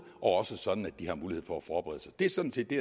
og også sådan at de har mulighed for at forberede sig det er sådan set det